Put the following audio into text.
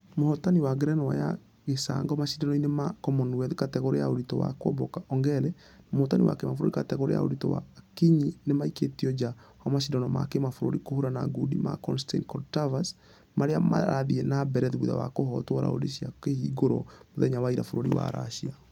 Mũhotani wa ngerenwa ya gĩcangomashidano-inĩ ma commonwealth kategore ya ũritũ wa kuomboka ongare na mũhotani wa kĩbũrũri kategore ya ũritũ wa.....akinyi . Nĩmaikĩtio nja wa mashidano ma kĩmabũrũrĩ kũhũrana ngundi ma konstain korotkov marĩa marathie na mbere thutha wa kũhotwo raundi cia kũhingũra mũthenya wa ira bũrũri wa russia.